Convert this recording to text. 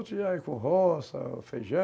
Outro já é com roça, feijão,